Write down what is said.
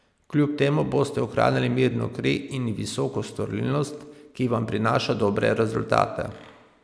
Kljub temu boste ohranili mirno kri in visoko storilnost, ki vam prinaša dobre rezultate.